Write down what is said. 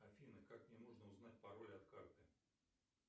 афина как мне можно узнать пароль от карты